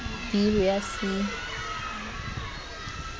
b le ho ya c